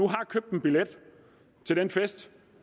har købt en billet til den fest